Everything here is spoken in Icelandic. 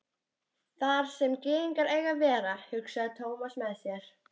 Þar sem gyðingar eiga að vera, hugsaði Thomas með sér.